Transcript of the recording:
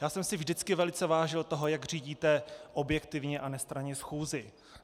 Já jsem si vždycky velice vážil toho, jak řídíte objektivně a nestranně schůzi.